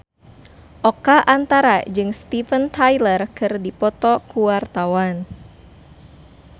Oka Antara jeung Steven Tyler keur dipoto ku wartawan